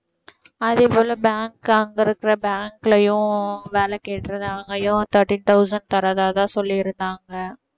அதேபோல bank அங்க இருக்கிற bank லயும் வேலை கேட்டிருந்தேன் அங்கேயும் thirteen thousand தர்றதாதான் சொல்லியிருந்தாங்க